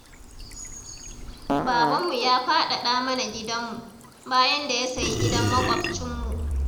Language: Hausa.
Babanmu ya faɗaɗa mana gidanmu, bayan da ya sayi gidan maƙwabcinmu.